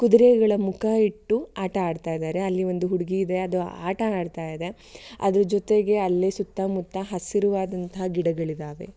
ಕುದರೆಗಳ ಮುಖ ಇಟ್ಟು ಆಟ ಆಡ್ತಾಯಿದ್ದಾರೆ ಅಲ್ಲಿ ಒಂದು ಹುಡಗಿ ಇದೆ ಅದು ಆಟ ಆಡತಾಯಿದೆ ಅದರ ಜೊತೆಗೆ ಅಲ್ಲಿ ಸುತ್ತ ಮುತ್ತ ಅಲ್ಲಿ ಹಸಿರುವಾದಂತಹ ಗಿಡಗಳಿದಾವೆ.